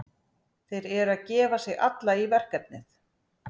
Þeir eru að gefa sig alla í verkefnið.